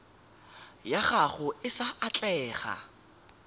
ya gago e sa atlega